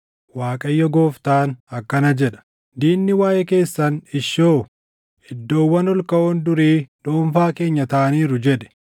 Waaqayyo Gooftaan akkana jedha: Diinni waaʼee keessan, “Ishoo! Iddoowwan ol kaʼoon durii dhuunfaa keenya taʼaniiru” jedhe.’